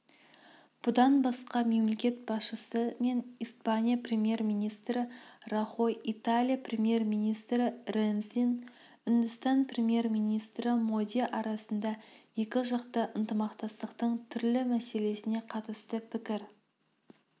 бұдан басқа мемлекет басшысы мен испания премьер-министрі рахой италия премьер-министрі ренцин үндістан премьер-министрі моди арасында екіжақты ынтымақтастықтың түрлі мәселесіне қатысты пікір